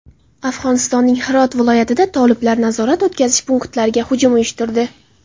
Afg‘onistonning Hirot viloyatida toliblar nazorat-o‘tkazish punktlariga hujum uyushtirdi.